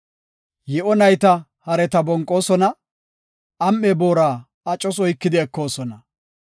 Yi7o nayta hareta bonqoosona; am7e booraa acos oykidi ekoosona.